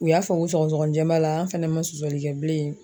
U y'a fɔ ko sɔgɔsɔgɔninjɛn b'a la an fɛnɛ ma sɔsɔli kɛ bilen.